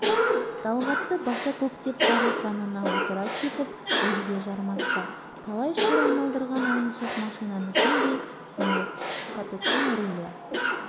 сонда да тас болып қатып оңға қарай бұра берді сөйтсе каток қалай шабан жүрсе солай қиын